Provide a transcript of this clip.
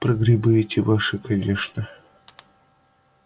про грибы эти ваши конечно